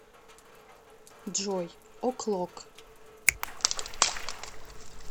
джой о клок